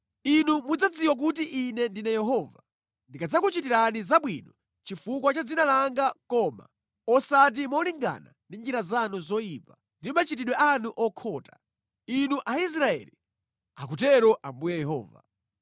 Inu mudzadziwa kuti Ine ndine Yehova, ndikadzakuchitirani zabwino chifukwa cha dzina langa koma osati molingana ndi njira zanu zoyipa ndi machitidwe anu okhota, inu Aisraeli, akutero Ambuye Yehova.’ ”